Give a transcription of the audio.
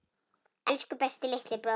Elsku besti litli bróðir.